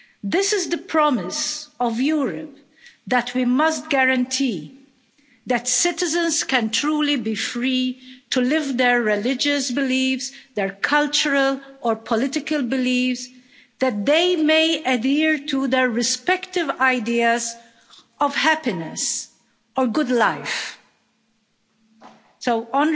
This is the promise of Europe that we must guarantee that citizens can truly be free to live their religious beliefs, their cultural or political beliefs, that they may adhere to their respective ideas of happiness, or good life.'